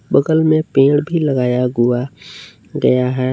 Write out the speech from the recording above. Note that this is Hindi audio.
बगल में पेड़ भी लगाया हुआ गया है।